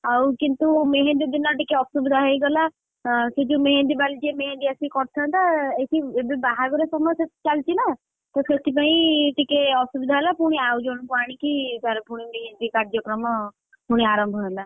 ଆଉ କିନ୍ତୁ ମେହେନ୍ଦୀ ଦିନ ଟିକେ ଅସୁବିଧା ହେଇଗଲା ସେ ଯୋଉ ମେହେନ୍ଦୀ ବାଲି ଯିଏ ମେହେନ୍ଦୀ ଆସି କରିଥାନ୍ତା ସେ ଏଠି ଏବେ ବାହାଘର ସମୟ, ଚାଲିଛିନା! ତ ସେଥିପାଇଁ ଟିକେ ଅସୁବିଧା ହେଲା ପୁଣି ଆଉ ଜଣଙ୍କୁ ଆଣିକି ତାର ପୁଣି ମେହେନ୍ଦୀ କାଯ୍ୟକ୍ରମ, ପୁଣି ଆରମ୍ଭ ହେଲା।